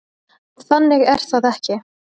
Þannig er það ekki.